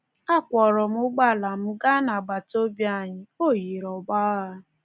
Akwọọrọm ụgbọala m gaa n’agbataobi anyị; o yiri ọgbọ agha.